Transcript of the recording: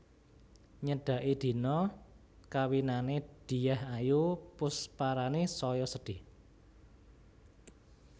Nyedaki dina kawinane Dyah Ayu Pusparani saya sedih